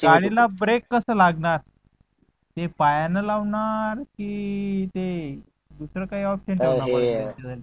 गाडीला ब्रेक कस लागणार ते पायांन लावणार कि ते दुसरा काय option